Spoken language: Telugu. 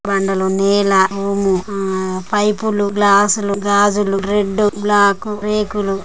బండలు నేల రూము ఆ పైపులు గ్లాసులు గాజులు రెడ్ డు బ్లాకు రేకులు--